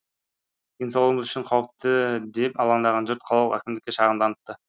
денсаулығымыз үшін қауіпті деп алаңдаған жұрт қалалық әкімдікке шағымданыпты